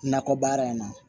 Nakɔ baara in na